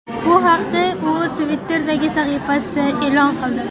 Bu haqda u Twitter’dagi sahifasida e’lon qildi .